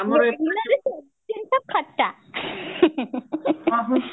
ବେଙ୍ଗେଲୋର ରେ ସବୁ ଜିନିଷ ଖଟା